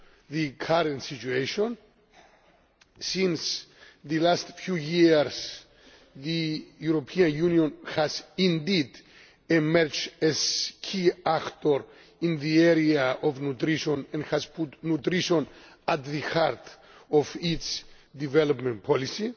the current situation, since in the last few years the European Union has indeed emerged as a key actor in the area of nutrition and has put nutrition at the heart of its development policy.